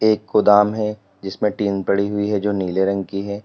एक गोदाम है जिसमें टीन पड़ी हुई है जो नीले रंग की है।